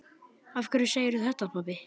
Af hverju segirðu þetta, pabbi?